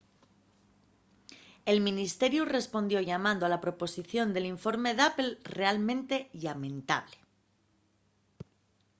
el ministeriu respondió llamando a la posposición del informe d’apple realmente llamentable